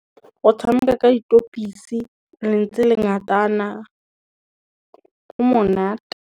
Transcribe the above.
Go tshameka ka ditopise le ntse le ngatana, go monate.